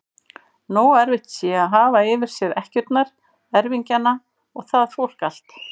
Nógu erfitt sé að hafa yfir sér ekkjurnar, erfingjana og það fólk allt!